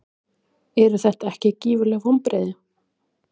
Eru þetta ekki gífurleg vonbrigði?